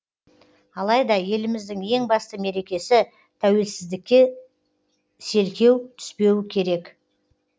алайда еліміздің ең басты мерекесі тәуелсіздікке селкеу түспеуі керек